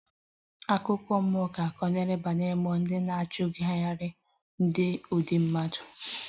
Akụkọ mmụọ ga-akọ banyere mmụọ ndị na-achugari ndị dị ndụ